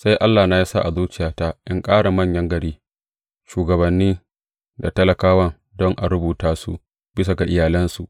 Sai Allahna ya sa a zuciyata in tara manyan gari, shugabanni da talakawa don a rubuta su bisa ga iyalansu.